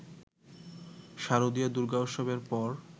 শারদীয় দুর্গোৎসবের পর